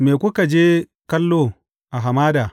Me kuka je kallo a hamada?